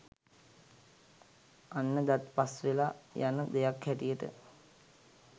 අන්න දත් පස්වෙලා යන දෙයක් හැටියට